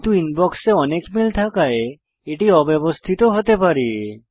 কিন্তু ইনবক্সে অনেক মেল থাকায় এটি অব্যবস্থিত হতে পারে